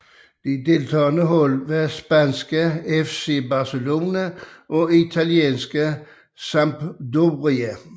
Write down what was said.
De deltagende hold var spanske FC Barcelona og italienske Sampdoria